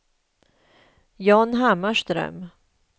John Hammarström